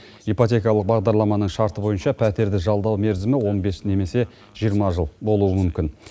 ипотекалық бағдарламаның шарты бойынша пәтерді жалдау мерзімі он бес немесе жиырма жыл болуы мүмкін